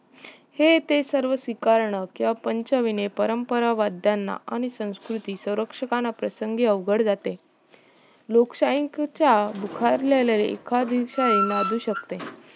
हे ते सर्व स्विकारणं किव्हा पंचविणे परंपरा वाद्यांना आणि संस्कृती स्वरंक्षकाना प्रसंगी अवघड जाते लोकशाहीच्या बुखारलेल्या एखादीवसाळी माजू शकते